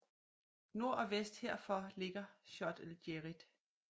Nord og vest herfor ligger Chott el Djerid